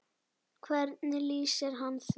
Hvernig lýsir hann því?